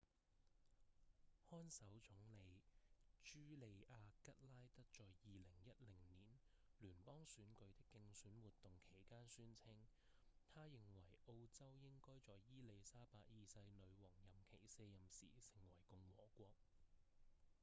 看守總理茱莉亞‧吉拉德在2010年聯邦選舉的競選活動期間宣稱她認為澳洲應該在伊莉莎白二世女王任期卸任時成為共和國